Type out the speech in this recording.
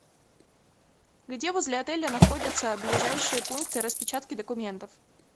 где возле отеля находятся ближайшие пункты распечатки документов